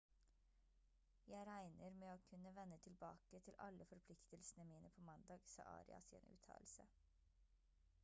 «jeg regner med å kunne vende tilbake til alle forpliktelsene mine på mandag» sa arias i en uttalelse